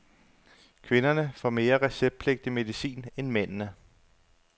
Kvinderne får mere receptpligtig medicin end mændene.